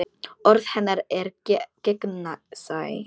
Orð hennar eru gegnsæ.